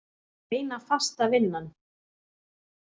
Eina fasta vinnan.